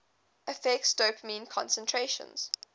affects dopamine concentrations